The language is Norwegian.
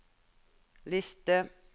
liste